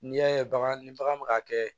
N'i y'a ye bagan ni bagan bɛ ka kɛ